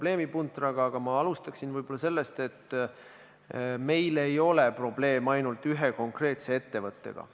See oli ajendatud Eesti Keskerakonna fraktsiooni, Eesti Konservatiivse Rahvaerakonna fraktsiooni ja Isamaa fraktsiooni poolt 10. detsembril 2019. aastal algatatud ravimiseaduse muutmise seaduse eelnõust 118.